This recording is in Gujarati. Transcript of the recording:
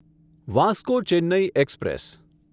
Vasco Chennai express